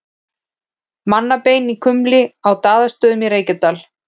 Mannabein í kumli á Daðastöðum í Reykjadal.